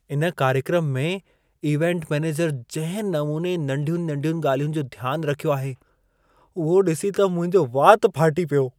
इन कार्यक्रम में इवेंट मैनेजर जंहिं नमूने नंढियुनि-नंढियुनि ॻाल्हियुनि जो ध्यान रखियो आहे, उहो ॾिसी त मुंहिंजो वात फाटी पियो।